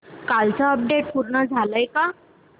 कालचं अपडेट पूर्ण झालंय का